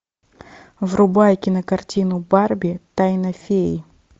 врубай кинокартину барби тайна феи